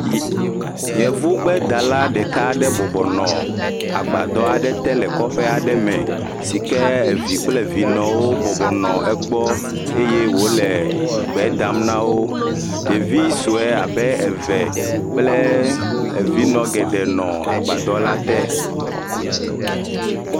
Yevugbedala ɖeka aɖe bɔbɔnɔ agbadɔ aɖe te le kɔƒe me, si ke vi kple vinɔwo bɔbɔnɔ egbɔ eye wònɔ gbe dam le wo. Ɖevi sue abe eve kple vinɔ geɖee nɔ agbadɔ la te.